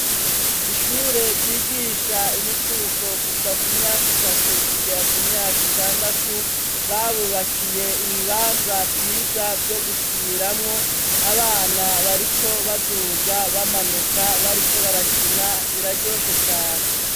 Ishure ryigisha imicuko kuva ku myaka itatu kugera ku myaka itandatu, babubakiye ibibanza vyiza vyo gukiniramwo, abana bariko baduga bamanuka bariko barakina biraryoshe cane.